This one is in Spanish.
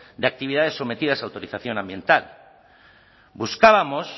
de actividades sometidas a autorización ambiental buscábamos